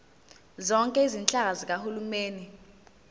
zonke izinhlaka zikahulumeni